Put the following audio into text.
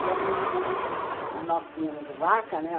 E a minha mãe... Nós tínhamos vaca, né?